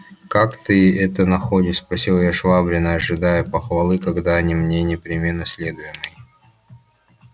как ты это находишь спросил я швабрина ожидая похвалы как дани мне непременно следуемой